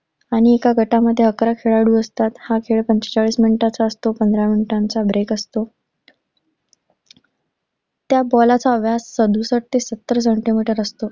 आणि एका गटामध्ये अकरा खेळाडू असतात. हा खेळ पंचेचाळीस मिनिटांचा असतो, पंधरा मिनिटांचा break असतो. त्या गोलाचा व्यास सदुसष्ट ते सत्तर सेंटीमीटर असतो